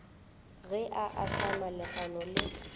ge a ahlama legano le